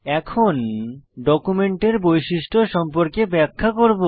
এখন ডকুমেন্টের বৈশিষ্ট্য সম্পর্কে ব্যাখ্যা করব